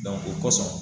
o kosɔn